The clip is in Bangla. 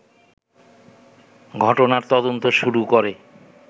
ঘটনার তদন্ত শুরু করে